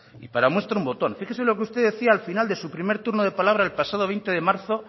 y para muestra un botón fíjese lo que usted decía al final de su primer turno de palabra el pasado veinte de marzo